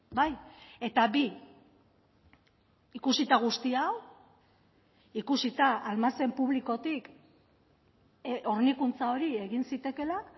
bai eta bi ikusita guzti hau ikusita almazen publikotik hornikuntza hori egin zitekeela